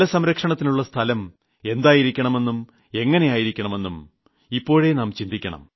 ജലസംരക്ഷണത്തിനുള്ള സ്ഥലം എന്തായിരിക്കണമെന്നും എങ്ങിനെയായിരിക്കണമെന്നും ഇപ്പോഴേ നാം ചിന്തിക്കണം